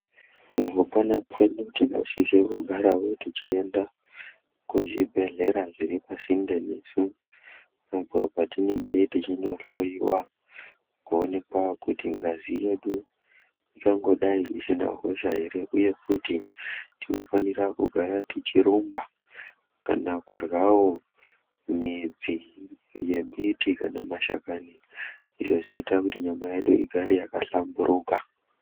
Mukupona kwedu tinosise kugarawo tichienda kuzvibhedhlera zviri pasinde nesu apo patinenge tichinohloyiwa kuonekwa kuti ngazi yedu ingangodai isina ukosha here, uye futi tinofanira kugara tichirumba kana kuryawo midzi yembiti kana mashakani izvo zvinoita kuti nyama yedu igare yakahlamburuka.